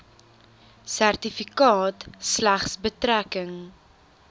sertifikaat slegs betrekking